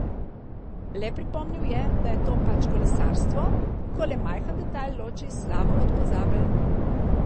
Le pripomnil je, da je to pač kolesarstvo, ko le majhen detajl loči slavo od pozabe.